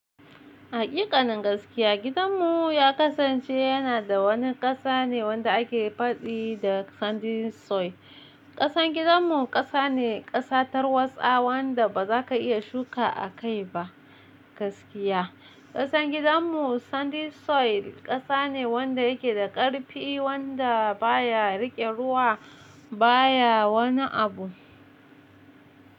Haƙiƙanin gaskiya gidanmu ya kasance yana da wani ƙasa ne wanda ake faɗi da sandy soil. Ƙasan gidanmu ƙasa ne ƙasatar watsa wanda ba za ka iya shuka a kai ba gaskiya. Ƙasan gidanmu sandy soil ƙasa ne wanda yake da ƙarfi wanda baya riƙe ruwa baya wani abu.